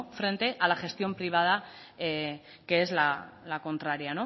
frente a la gestión privada que es la contraria